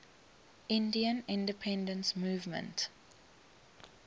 indian independence movement